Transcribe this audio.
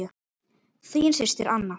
Þín systir, Anna.